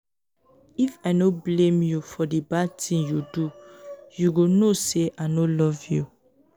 if i no blame you for di bad ting you do you go know say i no love you.